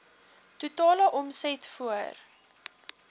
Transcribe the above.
totale omset voor